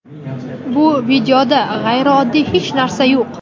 Bu videoda g‘ayrioddiy hech narsa yo‘q.